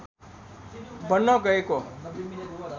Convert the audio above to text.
बन्न गएको